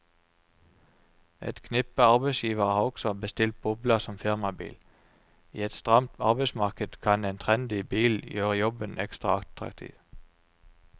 Et knippe arbeidsgivere har også bestilt bobla som firmabil, i et stramt arbeidsmarked kan en trendy bil gjøre jobben ekstra attraktiv.